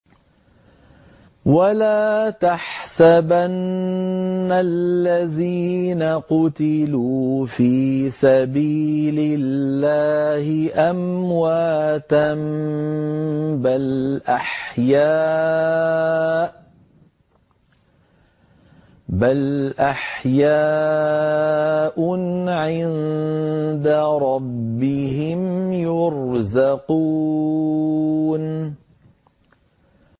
وَلَا تَحْسَبَنَّ الَّذِينَ قُتِلُوا فِي سَبِيلِ اللَّهِ أَمْوَاتًا ۚ بَلْ أَحْيَاءٌ عِندَ رَبِّهِمْ يُرْزَقُونَ